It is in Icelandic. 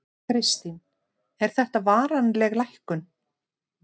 Kristín: Er þetta varanleg lækkun?